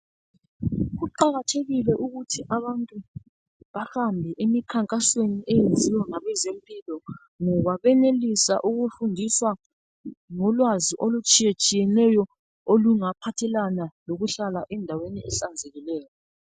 Kuqakathekile ukuthi abantu bahambe emikhankasweni eyenziwa ngabezempilo. Ngoba bayenelisa ukufundisa ngolwazi okutshiyetshiyeneyo olingaphathelana lokuhlala endaweni ehlanzekileyo.